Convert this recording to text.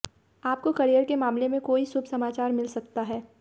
आपको करियर के मामले में कोई शुभ समाचार मिल सकता है